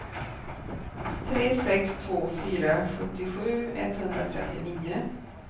tre sex två fyra sjuttiosju etthundratrettionio